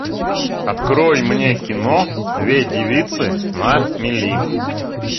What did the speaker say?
открой мне кино две девицы на мели